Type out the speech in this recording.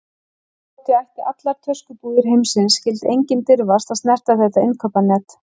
Þótt ég ætti allar töskubúðir heimsins skyldi enginn dirfast að snerta þetta innkaupanet.